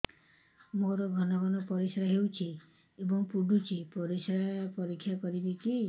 ମୋର ଘନ ଘନ ପରିସ୍ରା ହେଉଛି ଏବଂ ପଡ଼ୁଛି ପରିସ୍ରା ପରୀକ୍ଷା କରିବିକି